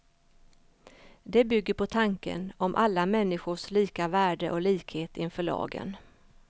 Det bygger på tanken om alla människors lika värde och likhet inför lagen.